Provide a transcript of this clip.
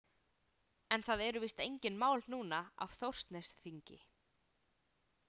En það eru víst engin mál núna af Þórsnesþingi?